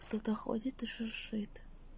кто-то ходит и шуршит